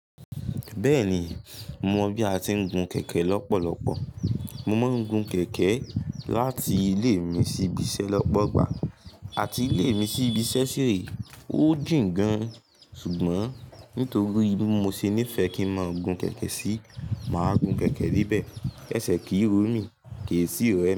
Bẹ́ẹ̀ni, mo mọ bí a ti ń gun kẹ̀kẹ́ lọ́pọ̀lọpọ̀. Mo máa ń gun kẹ̀kẹ́ láti ilé mi sí ibi iṣẹ́ lọ́pọ̀gbà àti ilé mi sí ibi ṣẹ́ṣẹ́ rẹ̀. Ó jìn gan-an, ṣùgbọ́n nítorí bí mo ṣe nífẹ̀ẹ́ kí máa gun kẹ̀kẹ́ sí, màá gun kẹ̀kẹ́ níbẹ̀. Ẹsẹ̀ kì í rọ mí, kì í sì rẹ.